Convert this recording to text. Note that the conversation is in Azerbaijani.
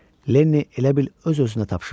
Lenniy elə bil öz-özünə tapşırdı.